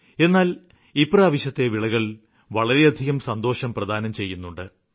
എന്നാല് ഇപ്രാവശ്യത്തെ വിളകള് വളരെയധികം സന്തോഷം പ്രദാനം ചെയ്യുന്നുണ്ട്